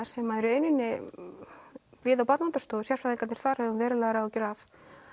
sem við á Barnaverndarstofu sérfræðingarnir þar höfum verulegar áhyggjur af